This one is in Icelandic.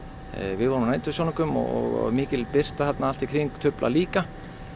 við vorum á nætursjónaukum og mikil birta þarna allt í kring truflar líka